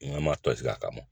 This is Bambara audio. N ma tɔsi a kama